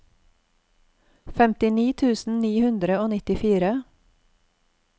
femtini tusen ni hundre og nittifire